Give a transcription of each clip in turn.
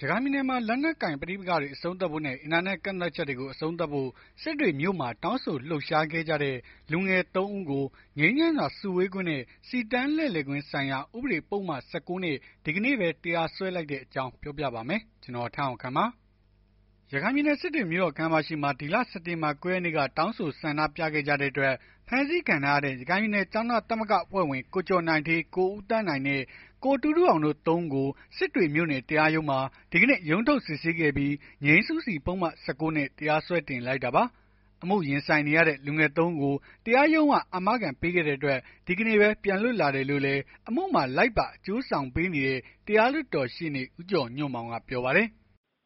ရခိုင်ပြည်နယ်မှာ လက်နက်ကိုင် ပဋိပက္ခတွေ အဆုံးသတ်ဖို့နဲ့ အင်တာနက် ကန့်သတ်ချက်တွေကို အဆုံးသတ်ဖို့ စစ်တွေမြို့မှာ တောင်းဆို လှုပ်ရှားခဲ့ကြတဲ့ လူငယ် ၃ ဦးကို ငြိမ်းချမ်းစွာစုဝေးခွင့်နဲ့ စီတန်းလှည့်လည်ခွင့်ဆိုင်ရာ ဥပဒေပုဒ်မ ၁၉ နဲ့ ဒီကနေ့ပဲ တရားစွဲလိုက်တဲ့အကြောင်း ဗွီအိုအေမြန်မာပိုင်းသတင်းထောက် ကိုထက်အောင်ခန့်က ပြောပြပါမယ်။ ရခိုင်ပြည်နယ် စစ်တွေမြို့တော်ခန်းမရှေ့မှာ ဒီလ စက်တင်ဘာ ၉ ရက်နေ့က တောင်းဆို ဆန္ဒပြခဲ့ကြတဲ့အတွက် ဖမ်းဆီးခံထားရတဲ့ ရခိုင်ပြည်နယ် ကျောင်းသားသမဂ္ဂအဖွဲ့ဝင်ကို ကျော်နိုင်ဌေး၊ ကိုဦးသန်းနိုင်နဲ့ ကိုတူးတူးအောင်တို့ ၃ ဦးကို စစ်တွေမြို့နယ် တရားရုံးမှာ ဒီကနေ့ ရုံးထုတ် စစ်ဆေးခဲ့ပြီး ငြိမ်းစုစီ ပုဒ်မ ၁၉ နဲ့ တရားစွဲတင်လိုက်တာပါ။ အမှုရင်ဆိုင်နေရတဲ့ လူငယ် ၃ ဦးကို တရားရုံးက အာမခံပေးခဲ့တဲ့အတွက် ဒီကနေ့ပဲ ပြန်လွတ်လာတယ်လို့လည်း အမှုမှာလိုက်ပါ အကျိုးဆောင်ပေးနေတဲ့ တရားလွှတ်တော်ရှေ့နေ ဦးကျော်ညွန့်မောင်ကပြောပါတယ်။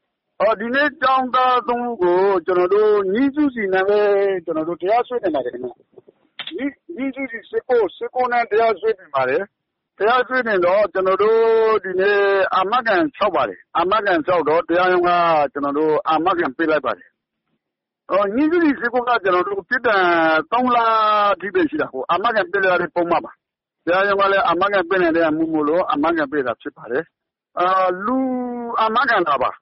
“ဒီကနေ့ ကျောင်းသား ၃ ဦးကို ငြိမ်းစုစီနဲ့ တရားစွဲတင်ပါတယ်။ ငြိမ်းစုစီ ၁၉ နဲ့ တရားစွဲတင်ပါတယ်။ တရားစွဲ တင်တော့ ကျနော်တို့ ဒီကနေ့ အာမခံလျှောက်ပါတယ်။ အာမခံလျှောက်တော့ တရားရုံးက အာမခံ ပေးလိုက် ပါတယ်။ ငြိမ်စုစီက ပြစ်ဒဏ်က ၃ လအထိပဲရှိတာပေါ့ အာမခံပေးလို့ရတဲ့ ပုဒ်မပါ။ တရားရုံးကလည်း အာမခံ ပေးနိုင်တဲ့ အမှုမို့လို့ အာမခံပေးလိုက်တာပါ။ လူအာမခံတာပါ။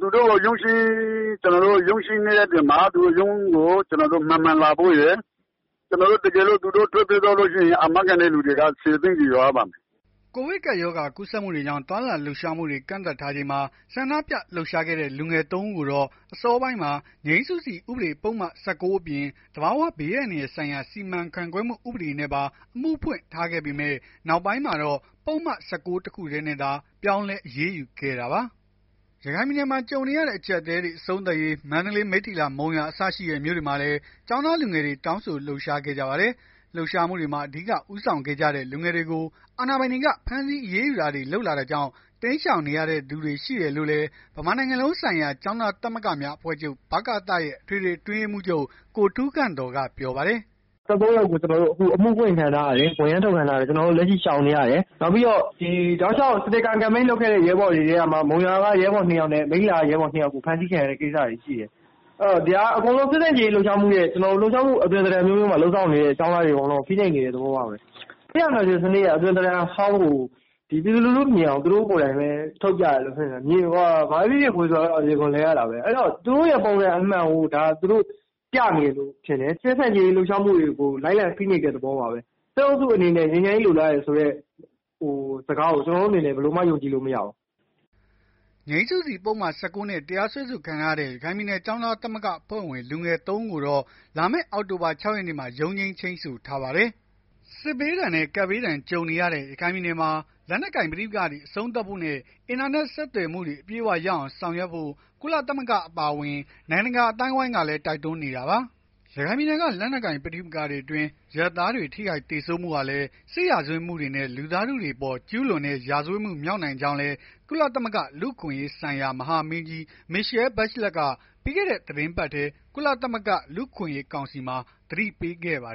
သူတို့ကို ရုံးချိန်းတဲ့ ရက်တွေမှာ ရုံးကို မှန်မှန် လာဖို့ရယ် တကယ်လို့ သူတို့ ထွက်ပြေးသွားလို့ရှိရင် အာမခံတဲ့ လူတွေက ၁၀ သိန်းစီ လျော်ရပါမယ်။” ကိုဗစ်ကပ်ရောဂါ ကူးစက်မှုတွေကြောင့် သွားလာလှုပ်ရှားမှုတွေ ကန့်သတ်ထားချိန်မှာ ဆန္ဒပြလှုပ်ရှားခဲ့တဲ့ လူငယ် ၃ ဦးကိုတော့ အစောပိုင်းမှာ ငြိမ်းစုစီဥပဒေပုဒ်မ ၁၉ အပြင် သဘာဝဘေးအန္တရာယ်ဆိုင်ရာ စီမံခန့်ခွဲမှု ဥပဒေနဲ့ပါ အမှုဖွင့်ထားခဲ့ပေမဲ့ နောက်ပိုင်းမှာတော့ ပုဒ်မ ၁၉ တခုတည်းနဲ့သာ ပြောင်းလဲ အရေးယူခဲ့တာပါ။ ရခိုင်ပြည်နယ်မှာ ကြုံနေရတဲ့ အကျပ်အတည်းတွေ အဆုံးသတ်ရေး မန္တလေး၊ မိတ္ထီလာ၊ မုံရွာ အစရှိတဲ့ မြို့တွေမှာလည်း ကျောင်းသားလူငယ်တွေ တောင်းဆိုလှုပ်ရှားခဲ့ကြပါတယ်။ လှုပ်ရှားမှုတွေမှာ အဓိက ဦးဆောင်ခဲ့ကြတဲ့ လူငယ်တွေကို အာဏာပိုင်တွေက ဖမ်းဆီးအရေးယူတာတွေ လုပ်လာတာကြောင့် တိမ်းရှောင်နေရသူတွေ ရှိတယ်လို့လည်း ဗမာနိုင်ငံလုံးဆိုင်ရာ ကျောင်းသားသမဂ္ဂများ အဖွဲ့ချုပ် ရဲ့ အထွေထွေအတွင်းရေးမှူး ကိုထူးခန့်သော်ကပြောပါတယ်။ “၁၃ ယောက်ကို အခုအမှုဖွင့်ခံထားရတယ်။ ဝရမ်းထုတ်ခံထားရတယ်။ ကျွန်တော်တို့ လက်ရှိရှောင်နေရတယ်။ နောက်ပြီးတော့ တောက်လျှောက် စတေကာ ကမ်ပိန်းလုပ်ခဲ့တဲ့ ရဲဘော်တွေကမှ မုံရွာက ရဲဘော် ၂ ယောက်နဲ့ မိတ္ထီလာက ရဲဘော်တွေ ဖမ်းဆီးခံရတဲ့ ကိစ္စတွေရှိတယ်။ ဒါက စစ်ဆန့်ကျင်ရေး လှုပ်ရှားမှုရဲ့ လှုပ်ရှားမှုရဲ့ အသွင် အမျိုးမျိုးမှာ လုပ်ဆောင်နေတဲ့ ကျောင်းသားတွေကို ဖိနှိပ်နေတဲ့ သဘောပါပဲ။ စစ်အာဏာရှင် အသွင် ဟောင်းကို ပြည်သူလူထုမြင်အောင် သူတို့ကိုယ်တိုင်ပဲ ထုတ်ပြနေတယ်။ မြွေဆိုတာ အရေခွံလဲရတာပဲ။ သူတို့ရဲ့ ပုံစံအမှန်ကို ပြနေတယ်လို့ပဲမြင်တယ်။ စစ်ဆန့်ကျင်ရေး လှုပ်ရှားမှုတွေကို လိုက်လံဖိနှိပ်တဲ့ သဘောပါပဲ။ စစ်အုပ်စုအနေနဲ့ ငြိမ်းချမ်းရေး လိုလားတယ်ဆိုတဲ့ စကားကို ကျနော်တို့ အနေနဲ့ ဘယ်လိုမှ ယုံကြည်လို့ မရဘူး။” ငြိမ်းစုစီပုဒ်မ ၁၉ နဲ့ တရားစွဲဆိုခံထားရတဲ့ ရခိုင်ပြည်နယ် ကျောင်းသား သမဂ္ဂအဖွဲ့ဝင် လူငယ် ၃ ဦး ကိုတော့ လာမယ့် အောက်တိုဘာလ ၆ ရက်နေ့မှာ ရုံးချိန်း ချိန်းဆိုထားပါတယ်။ စစ်ဘေးဒဏ်နဲ့ ကပ်ရောဂါဒဏ် ကြုံနေရတဲ့ ရခိုင်ပြည်နယ်မှာ လက်နက်ကိုင် ပဋိပက္ခတွေ အဆုံးသတ်ဖို့နဲ့ အင်တာနက် ဆက်သွယ်မှုတွေ အပြည့်အဝရအောင် ဆောင်ရွက်ဖို့ ကုလသမဂ္ဂ အပါအဝင် နိုင်ငံတကာ အသိုင်းအဝန်းကလည်း တိုက်တွန်းနေတာပါ။ ရခိုင်ပြည်နယ်က လက်နက်ကိုင် ပဋိပက္ခတွေအတွင်း အရပ်သားတွေ ထိခိုက်သေဆုံးမှုတွေဟာလည်း စစ်ရာဇဝတ်မှုနဲ့ လူသားထုအပေါ် ကျုးလွန်တဲ့ ရာဇဝတ်မှု မြောက်နိုင်ကြောင်းလည်း ကုလသမဂ္ဂ လူ့အခွင့်အရေးဆိုင်ရာ မဟာမင်းကြီး Michelle Bachelet က ပြီးခဲ့တဲ့ သီတင်းပတ်ထဲ ကုလသမဂ္ဂ လူ့အခွင့်အရေး ကောင်စီမှာ သတိပေးခဲ့ပါတယ်